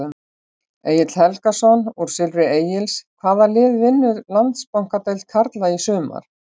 Egill Helgason úr Silfri Egils Hvaða lið vinnur Landsbankadeild karla í sumar?